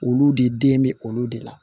Olu de den bɛ olu de la